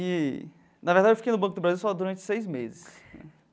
E na verdade, eu fiquei no Banco do Brasil só durante seis meses né.